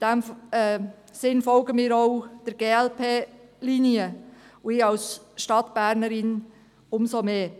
In diesem Sinne folgen wir auch der glp-Linie und ich als Stadtbernerin umso mehr.